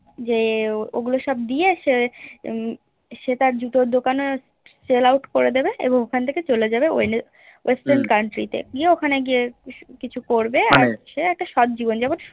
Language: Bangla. যে ওগুলো সব দিয়ে সে সে তার জুতোর দোকানে Sell out করে দেবে এবং ওখান থেকে চলে যাবে Western country তে ওখানে গিয়ে লিচু একটা করযে সে একটা শট জীবন যাপন